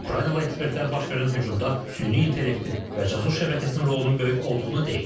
Ukraynalı ekspertlər baş verən hücumda süni intellektin və casus şəbəkəsinin rolunun böyük olduğunu deyib.